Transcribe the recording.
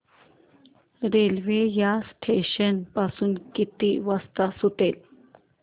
railway या station पासून किती वाजता सुटते